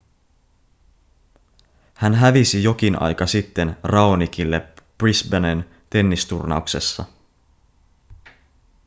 hän hävisi jokin aika sitten raonicille brisbanen tennisturnauksessa